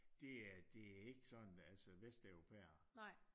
Det er ikke sådan altså vesteuropæere